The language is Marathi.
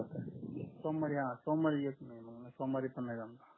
सोमवारी सोमवारी येतो मग सोमवारी पण नाही जमेल